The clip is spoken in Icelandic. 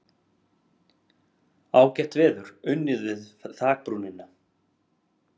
Ágætt veður, unnið við þakbrúnina.